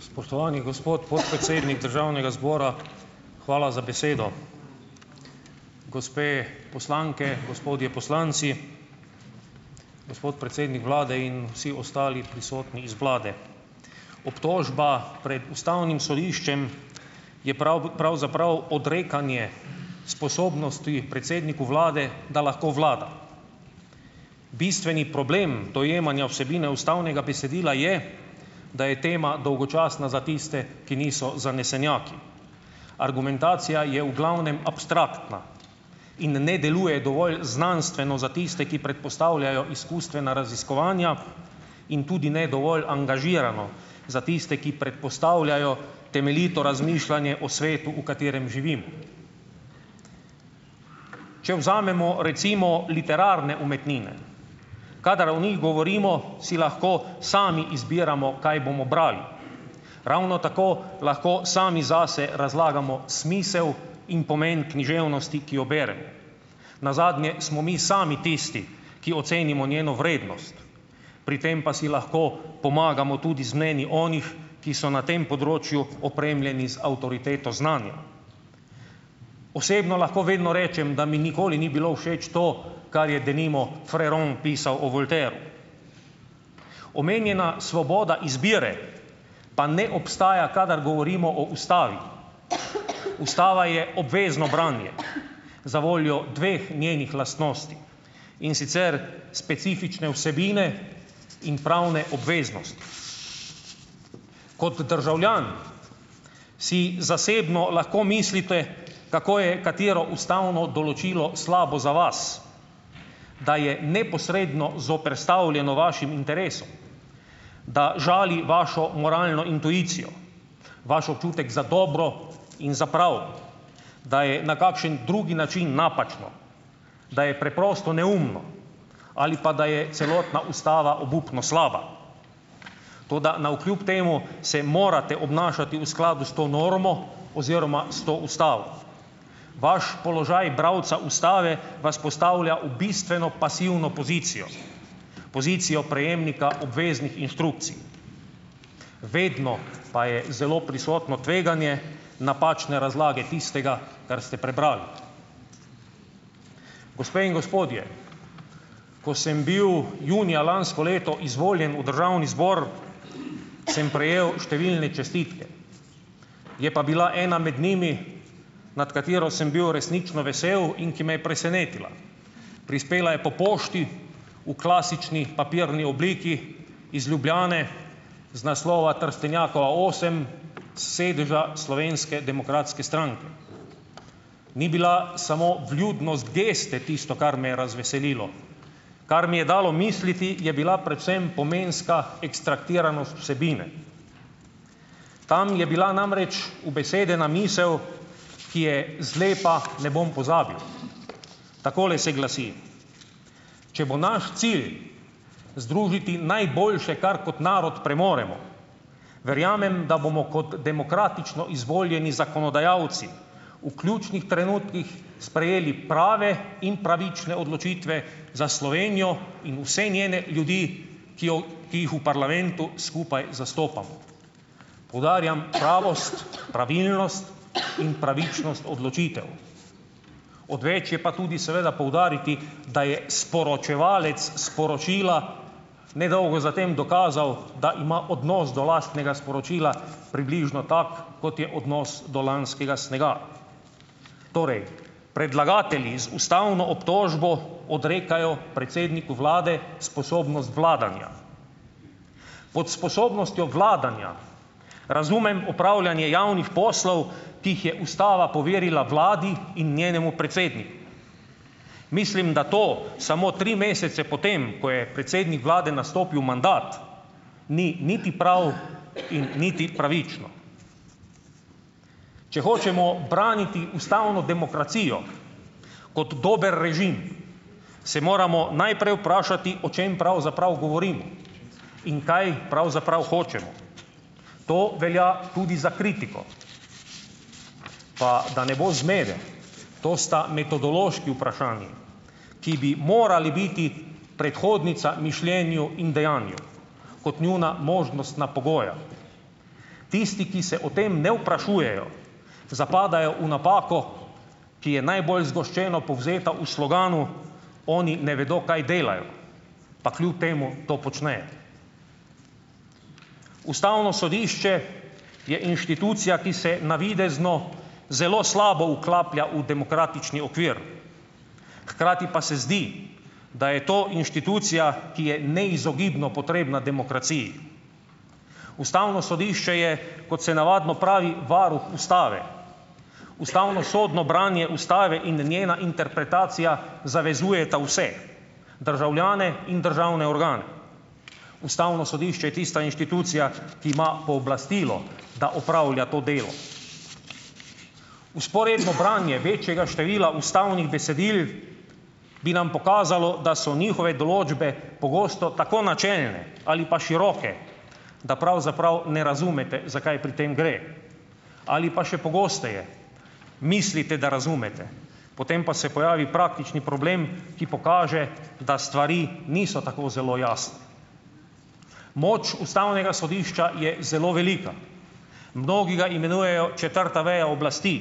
Spoštovani gospod podpredsednik državnega zbora, hvala za besedo. Gospe poslanke, gospodje poslanci, gospod predsednik vlade in vsi ostali prisotni iz vlade. Obtožba pred ustavnim sodiščem je pravzaprav odrekanje sposobnosti predsedniku vlade, da lahko vlada. Bistveni problem dojemanja vsebine ustavnega besedila je, da je tema dolgočasna za tiste, ki niso zanesenjaki. Argumentacija je v glavnem abstraktna in ne deluje dovolj znanstveno za tiste, ki predpostavljajo izkustvena raziskovanja, in tudi ne dovolj angažirano za tiste, ki predpostavljajo temeljito razmišljanje o svetu, v katerem živimo. Če vzamemo recimo literarne umetnine, kadar o njih govorimo, si lahko sami izbiramo, kaj bomo brali. Ravno tako lahko sami zase razlagamo smise in pomen književnosti, ki jo beremo. Nazadnje smo mi sami tisti, ki ocenimo njeno vrednost, pri tem pa si lahko pomagamo tudi z mnenji onih, ki so na tem področju opremljeni z avtoriteto znanja. Osebno lahko vedno rečem, da mi nikoli ni bilo všeč to, kar je denimo Fréron pisal o Voltairu. Omenjena svoboda izbire pa ne obstaja, kadar govorimo o ustavi. Ustava je obvezno branje zavoljo dveh njenih lastnosti, in sicer specifične vsebine in pravne obveznosti. Kot državljan si zasebno lahko mislite, kako je katero ustavno določilo slabo za vas, da je neposredno zoperstavljeno vašim interesom, da žali vašo moralno intuicijo, vaš občutek za dobro in za prav, da je na kakšen drugi način napačno, da je preprosto neumno ali pa da je celotna ustava obupno slaba, toda navkljub temu se morate obnašati v skladu s to normo oziroma s to ustavo. Vaš položaj bralca ustave vas postavlja v bistveno pasivno pozicijo, pozicijo prejemnika obveznih inštrukcij. Vedno pa je zelo prisotno tveganje napačne razlage tistega, kar ste prebrali. Gospe in gospodje, ko sem bil junija lansko leto izvoljen v državni zbor, sem prejel številne čestitke. Je pa bila ena med njimi, nad katero sem bil resnično vesel in ki me je presenetila. Prispela je po pošti v klasični papirni obliki iz Ljubljane z naslova Trstenjakova osem, sedeža Slovenske demokratske stranke. Ni bila samo vljudnost geste tisto, kar me je razveselilo. Kar mi je dalo misliti, je bila predvsem pomenska ekstrahiranost vsebine. Tam je bila namreč ubesedena misel, ki je zlepa ne bom pozabil. Takole se glasi: "Če bo naš cilj združiti najboljše, kar kot narod premoremo, verjamem, da bomo kot demokratično izvoljeni zakonodajalci v ključnih trenutkih sprejeli prave in pravične odločitve za Slovenijo in vse njene ljudi, ki jo, ki jih v parlamentu skupaj zastopamo." Poudarjam pravost, pravilnost in pravičnost odločitev. Odveč je pa tudi seveda poudariti, da je sporočevalec sporočila ne dolgo za tem dokazal, da ima odnos do lastnega sporočila približno tak, kot je odnos do lanskega snega. Torej predlagatelji z ustavno obtožbo odrekajo predsedniku vlade sposobnost vladanja. Pod sposobnostjo vladanja razumem opravljanje javnih poslal, ki jih je ustava poverila vladi in njenemu predsedniku. Mislim, da to samo tri mesece po tem, ko je predsednik vlade nastopil mandat, ni niti prav in niti pravično. Če hočemo braniti ustavno demokracijo kot dober režim, se moramo najprej vprašati, o čem pravzaprav govorimo in kaj pravzaprav hočemo. To velja tudi za kritiko. Pa da ne bo zmede, to sta metodološki vprašanji, ki bi morali biti predhodnica mišljenju in dejanju kot njuna možnostna pogoja. Tisti, ki se o tem ne vprašujejo, zapadajo v napako, ki je najbolj zgoščeno povzeta v sloganu: "Oni ne vedo kaj delajo, pa kljub temu to počnejo." Ustavno sodišče je inštitucija, ki se navidezno zelo slabo vklaplja v demokratični okvir, hkrati pa se zdi, da je to inštitucija, ki je neizogibno potrebna demokraciji. Ustavno sodišče je, kot se navadno pravi, varuh ustave. Ustavnosodno branje ustave in njena interpretacija zavezujeta vse državljane in državne organe. Ustavno sodišče je tista inštitucija, ki ima pooblastilo, da opravlja to delo. Vzporedno branje večjega števila ustavnih besedil bi nam pokazalo, da so njihove določbe pogosto tako načelne ali pa široke, da pravzaprav ne razumete, za kaj pri tem gre ali pa še pogosteje mislite, da razumete, potem pa se pojavi praktični problem, ki pokaže, da stvari niso tako zelo jasne. Moč ustavnega sodišča je zelo velika. Mnogi ga imenujejo četrta veja oblasti.